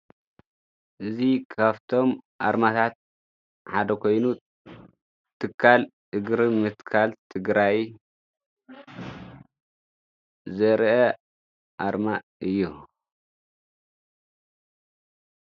እዙ ኻፍቶም ኣርማታት ሓደ ኮይኑ፤ ትካል እግሪ ምትካል ትግራይ ዘርአ ኣርማ እዮ።